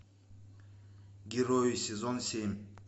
герои сезон семь